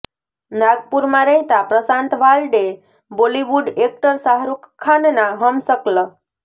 નાગપુરમાં રહેતા પ્રશાંત વાલ્ડે બોલિવૂડ એક્ટર શાહરુખ ખાનના હમશક્લ